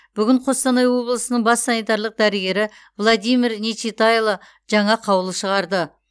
бүгін қостанай облысының бас санитарлық дәрігері владимир нечитайло жаңа қаулы шығарды